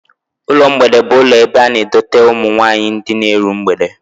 Ụlọ mgbede bụ ụlọ ebe a na-edote ụmụ nwaanyị ndị na-eru mgbede